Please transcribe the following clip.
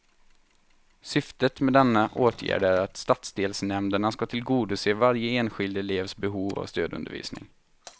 Syftet med denna åtgärd är att stadsdelsnämnderna ska tillgodose varje enskild elevs behov av stödundervisning.